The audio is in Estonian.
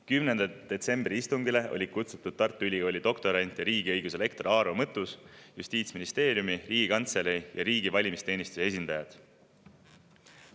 10. detsembri istungile olid kutsutud Tartu Ülikooli doktorant ja riigiõiguse lektor Aaro Mõttus ning Justiitsministeeriumi, Riigikantselei ja riigi valimisteenistuse esindajad.